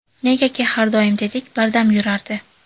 Negaki, har doim tetik, bardam yurardi.